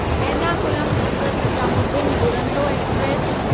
Ernakulam Hazrat Nizamuddin Duronto express